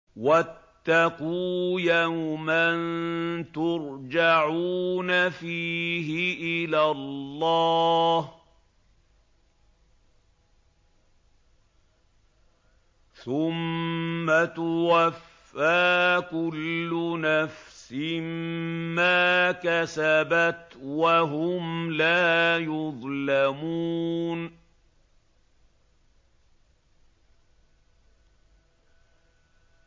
وَاتَّقُوا يَوْمًا تُرْجَعُونَ فِيهِ إِلَى اللَّهِ ۖ ثُمَّ تُوَفَّىٰ كُلُّ نَفْسٍ مَّا كَسَبَتْ وَهُمْ لَا يُظْلَمُونَ